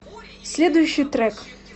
следующий трек